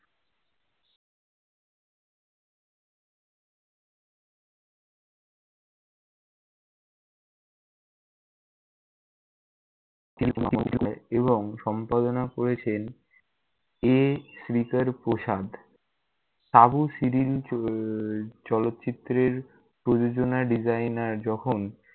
এবং সম্পাদনা করেছেন এ. শ্রীকর প্রসানদ । সাবু সিরিল চলচিত্রের প্রযোজনা designer যখন-